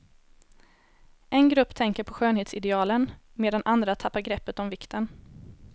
En grupp tänker på skönhetsidealen, medan andra tappar greppet om vikten.